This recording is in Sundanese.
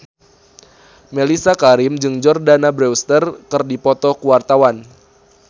Mellisa Karim jeung Jordana Brewster keur dipoto ku wartawan